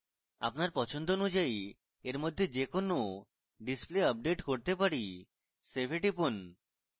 আমরা পছন্দ অনুযায়ী we মধ্যে যে কোনো displays আপডেট করতে পারি save we টিপুন